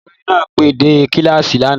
Olùkọ́ni náà pẹ́ dé kíláàsì lánàá